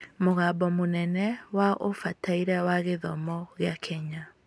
Mũgambo mũnene wa Ũbataire wa Gĩthomo gĩa Kenya